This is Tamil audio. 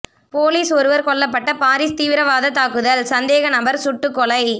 போலீஸ் ஒருவர் கொல்லப்பட்ட பாரிஸ் தீவிரவாத தாக்குதல் சந்தேக நபர் சுட்டுகொலை